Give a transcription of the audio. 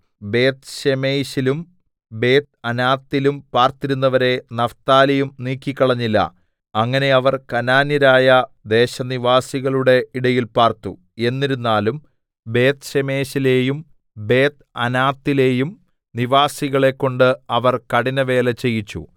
ബേത്ത്ശേമെശിലും ബേത്ത്അനാത്തിലും പാർത്തിരുന്നവരെ നഫ്താലിയും നീക്കിക്കളഞ്ഞില്ല അങ്ങനെ അവർ കനാന്യരായ ദേശനിവാസികളുടെ ഇടയിൽ പാർത്തു എന്നിരുന്നാലും ബേത്ത്ശേമെശിലെയും ബേത്ത്അനാത്തിലെയും നിവാസികളെകൊണ്ട് അവർ കഠിനവേല ചെയ്യിച്ചു